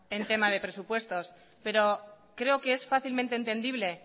en tema de presupuestos pero creo que es fácilmente entendible